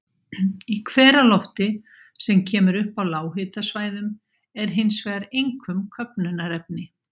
Í hveralofti, sem kemur upp á lághitasvæðunum, er hins vegar einkum köfnunarefni.